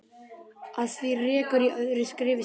Að því rekur í öðru skrifi síðar.